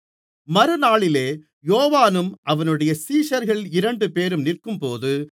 மறுநாளிலே யோவானும் அவனுடைய சீடர்களில் இரண்டுபேரும் நிற்கும்போது